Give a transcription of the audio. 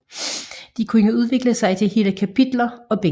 De kunne udvikle sig til hele kapitler og bind